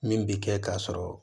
Min bi kɛ ka sɔrɔ